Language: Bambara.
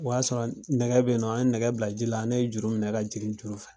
O y'a sɔrɔ a nɛgɛ be yennɔ an ye nɛgɛ bila ji la, ne ye juru minɛ ka jiri juru fɛ.